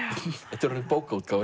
þetta er orðin bókaútgáfa